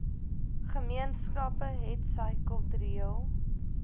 gemeenskappe hetsy kultureel